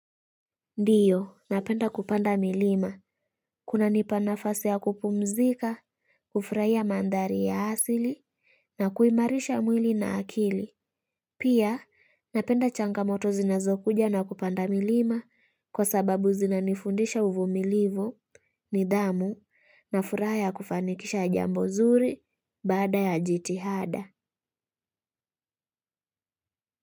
Ndiyo, napenda kupanda milima, kuna nipa nafasi ya kupumzika, kufurahia mandari ya asili, na kuimarisha mwili na akili. Pia, napenda changamoto zinazokuja na kupanda milima, kwa sababu zinanifundisha uvumilivu, nidhamu, na furaha ya kufanikisha jambo zuri, baada ya jitihada.